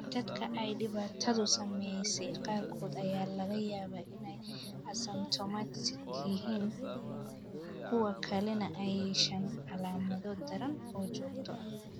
Dadka ay dhibaatadu saameysey qaarkood ayaa laga yaabaa inay asymptomatic yihiin halka kuwa kalena ay yeeshaan calaamado daran oo joogto ah.